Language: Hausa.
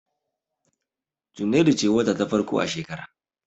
Junairu ce wata ta farko a shekara.